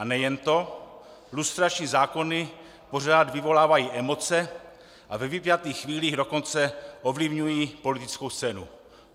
A nejen to, lustrační zákony pořád vyvolávají emoce a ve vypjatých chvílích dokonce ovlivňují politickou scénu.